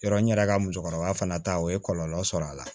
Yɔrɔ n yɛrɛ ka musokɔrɔba fana ta o ye kɔlɔlɔ sɔrɔ a la